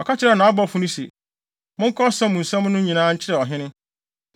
Ɔka kyerɛɛ nʼabɔfo no se, “Monka ɔsa mu nsɛm no nyinaa nkyerɛ ɔhene.